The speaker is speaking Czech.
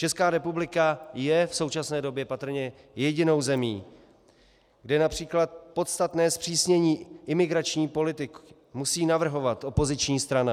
Česká republika je v současné době patrně jedinou zemí, kde například podstatné zpřísnění imigrační politiky musí navrhovat opoziční strana.